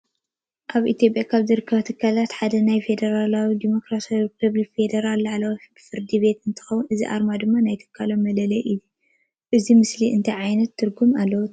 አብ ኢትዮጲያ ካብ ዝርከቡ ትካላት ሓደ ናይ ፌደራል ዲሞክራሳዊ ሪፐብሊክ ፌዴራል ላዕለዋይ ፍርድቤት እንትከውን እዚ አርማ ድማ ናይ ትካሎም መለለይ እዩ። እዚ ምስሊ እንታይ ዓይነት ትርጉም አለዎ ትቡሉ?